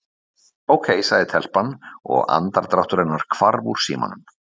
Ókei- sagði telpan og andardráttur hennar hvarf úr símanum.